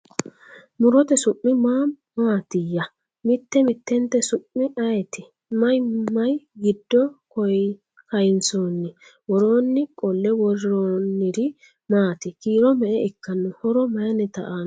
Murotte su' mi maa maattiya? Mitte mittentte su'mi ayiitti? Mayi mayi giddo kayiinsoonni? Woroonni qolle woroonniri maati? Kiiro me'e ikkanno? Horo mayiinnitta aanno?